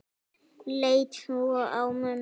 Leit svo á mömmu.